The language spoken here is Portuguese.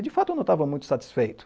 E, de fato, eu não estava muito satisfeito.